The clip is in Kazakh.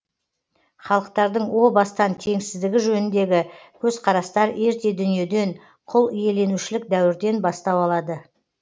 халықтардың о бастан теңсіздігі жөніндегі көзқарастар ерте дүниеден құлиеленушілік дәуірден бастау алады